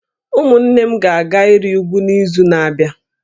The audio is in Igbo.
Ụmụnne m ga-aga ịrị úgwú n’izu na-abịa